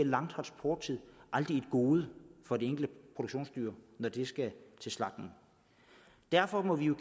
lange transporttid aldrig et gode for det enkelte produktionsdyr når det skal til slagtning derfor må vi jo